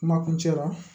Kuma kuncɛ la